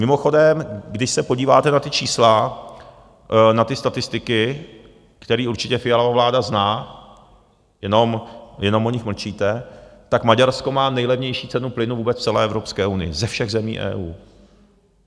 Mimochodem, když se podíváte na ta čísla, na ty statistiky, které určitě Fialova vláda zná, jenom o nich mlčíte, tak Maďarsko má nejlevnější cenu plynu vůbec v celé Evropské unii ze všech zemí EU.